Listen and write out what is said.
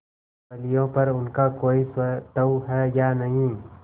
फलियों पर उनका कोई स्वत्व है या नहीं